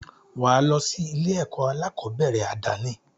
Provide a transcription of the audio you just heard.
Wà á lọ sí ilé-ẹ̀kọ́ aláàkọ́bẹ̀rẹ̀ àdáni.